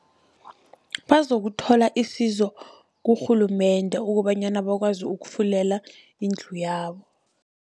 Bazokuthola isizo kurhulumende, kobanyana bakwazi ukufulela indlu yabo.